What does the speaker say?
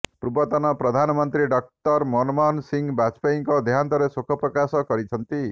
ପୂର୍ବତନ ପ୍ରଧାନମନ୍ତ୍ରୀ ଡକ୍ଟର ମନମୋହନ ସିଂ ବାଜପେୟୀଙ୍କ ଦେହାନ୍ତରେ ଶୋକ ପ୍ରକାଶ କରିଛନ୍ତି